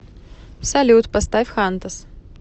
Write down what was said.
салют поставь хантос